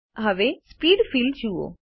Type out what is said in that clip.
હવે speed field જુઓ